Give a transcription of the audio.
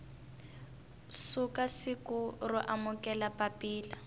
suka siku ro amukela papila